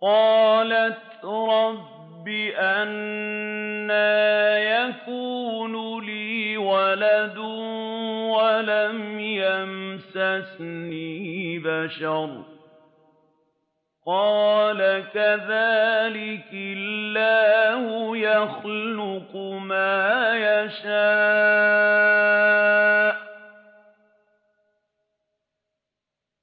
قَالَتْ رَبِّ أَنَّىٰ يَكُونُ لِي وَلَدٌ وَلَمْ يَمْسَسْنِي بَشَرٌ ۖ قَالَ كَذَٰلِكِ اللَّهُ يَخْلُقُ مَا يَشَاءُ ۚ